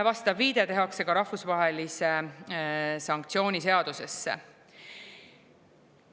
Vastav viide tehakse ka rahvusvahelise sanktsiooni seadusesse.